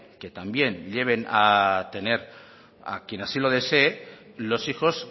que también lleven a tener a quien así lo desee los hijos